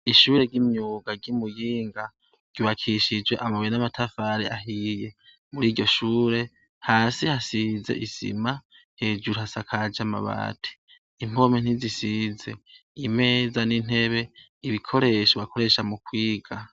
Ishure ry'imyuga ryi Muyinga ryubakishijwe amabuye n'amatafari ahiye. Muri iryo shure, hasi hasize isima, hejuru hasakaje amabati, impome ntizisize, imeza n'intebe, ibikoresho bakoresha mu kwiga.